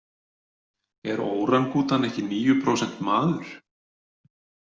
Er órangútan ekki níu prósent maður?